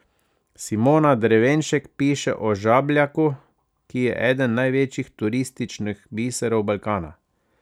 Simona Drevenšek piše o Žabljaku, ki je eden največjih turističnih biserov Balkana.